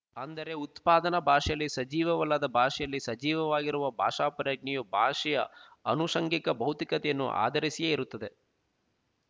ಅಂದರೆ ಉತ್ಪಾದನಾ ಭಾಷೆಯಲ್ಲಿ ಸಜೀವವಲ್ಲದ ಭಾಷೆಯಲ್ಲಿ ಸಜೀವವಾಗಿರುವ ಭಾಷಾಪ್ರಜ್ಞೆಯು ಭಾಷೆಯ ಆನುಶಂಗಿಕ ಭೌತಿಕತೆಯನ್ನು ಆಧರಿಸಿಯೇ ಇರುತ್ತದೆ